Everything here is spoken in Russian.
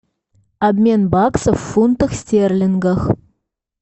обмен баксов в фунтах стерлингов